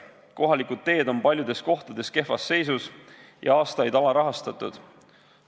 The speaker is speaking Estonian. Kohalikud teed on paljudes kohtades kehvas seisus ja aastaid alarahastatud.